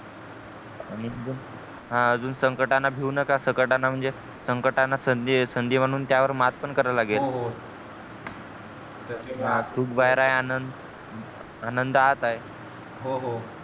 आणि अजून हा अजून संकटाना भिऊ नका संकटाना म्हणजे संकटाना संधी बनून त्या वर मात पण करा लागेल हो हो चूक बाहेर आहे आनंद आनंदात आहे